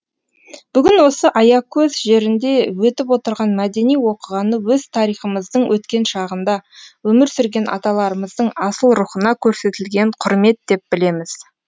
бүгін осы аякөз жерінде өтіп отырған мәдени оқиғаны өз тарихымыздың өткен шағында өмір сүрген аталарымыздың асыл рухына көрсетілген құрмет деп білеміз